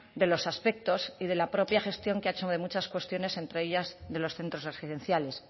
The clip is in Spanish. de los aspectos y de la propia gestión que ha hecho de muchas cuestiones entre ellas de los centros residenciales